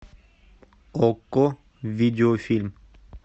окко видео фильм